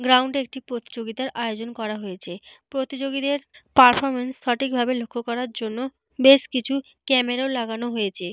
Ground একটি প্রতিযোগিতার আয়োজন করা হয়েছে। প্রতিযোগীদের পারফরমেন্স সঠিক ভাবে লক্ষ্য করার জন্য বেশ কিছু ক্যামেরা -ও লাগানো হয়েছে।